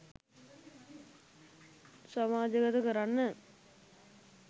සමාජගත කරන්න.